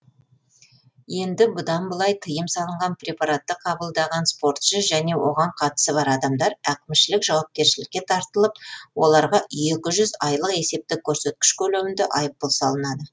енді бұдан былай тыйым салынған препаратты қабылдаған спортшы және оған қатысы бар адамдар әкімшілік жауапкершілікке тартылып оларға екі жүз айлық есептік көрсеткіш көлемінде айыппұл салынады